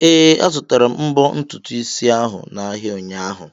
Ee, azutara m mbo ntutu isi ahụ n'ahịa ụnyaahụ.